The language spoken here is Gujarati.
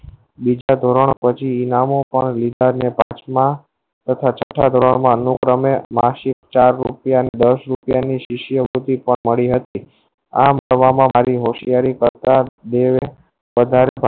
બીજા ધોરણ પછી નામો પણ વિકાર ને પાંચ મા તથા છત્તા ધોરણ મા અનુપ્રમે Marksheet ચાર રુપયા કે દસ રુપયા ની શીસ્યે મળી હતી આ મતવા મા મારી હોશિયારી મતલબ બે પગાર મા